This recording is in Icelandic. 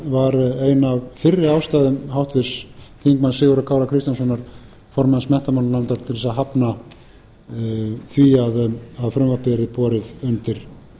ein af fyrri ástæðum háttvirtur þingmaður sigurðar kára kristjánssonar formanns menntamálanefndar til þess að hafna því að frumvarpið yrði borið undir